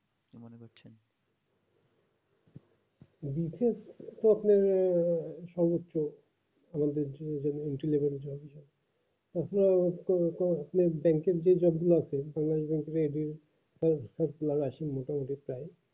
খুব স্বপ্ন আহ internship দিয়ে যতগুলা আসেন reply